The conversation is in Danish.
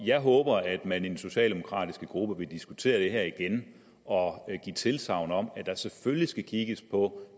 jeg håber at man i den socialdemokratiske gruppe vil diskutere det her igen og give tilsagn om at der selvfølgelig skal kigges på